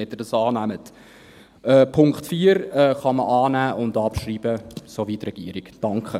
Den Punkt 4 kann man annehmen und abschreiben, so wie die Regierung. .